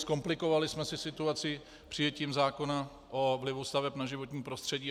Zkomplikovali jsme si situaci přijetím zákona o vlivu staveb na životní prostředí.